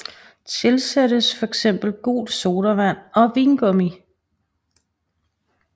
Tilsættes fx gul sodavand og vingummi